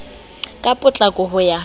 ka potlako ka ho ya